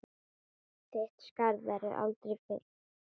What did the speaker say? Þitt skarð verður aldrei fyllt.